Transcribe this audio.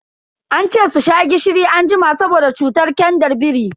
Ance su sha gishiri anjima saboda cutar kyandar biri.